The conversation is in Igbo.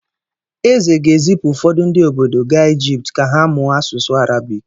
Eze ga-ezipụ ụfọdụ ndị obodo ga Ijipt ka ha mụọ asụsụ Arabik.